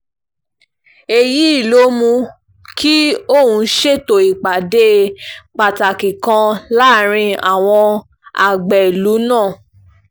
èyí ló mú kí òun ṣètò ìpàdé pàtàkì kan láàrin àwọn àgbẹ̀ ìlú náà